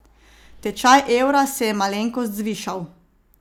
Tečaj evra se je malenkost zvišal.